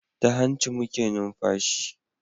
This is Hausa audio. Ta hanci muke numfashi